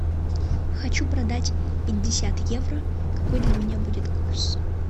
хочу продать пятьдесят евро какой для меня будет курс